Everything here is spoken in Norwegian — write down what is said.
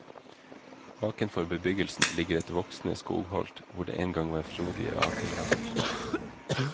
Bakenfor bebyggelsen ligger et voksende skogholt hvor det engang var frodige akerlapper.